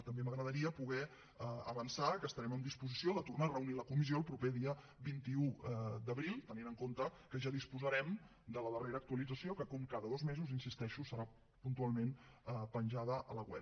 també m’agradaria poder avançar que estarem en disposició de tornar a reunir la comissió el proper dia vint un d’abril tenint en compte que ja disposarem de la darrera actualització que com cada dos mesos hi insisteixo serà puntualment penjada a la web